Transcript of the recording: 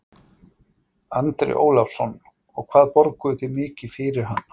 Andri Ólafsson: Og hvað borguðu þið mikið fyrir hana?